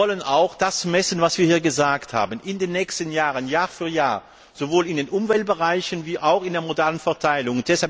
Wir wollen auch das messen, was wir hier gesagt haben in den nächsten Jahren, Jahr für Jahr, sowohl in den Umweltbereichen wie auch in der modalen Verteilung.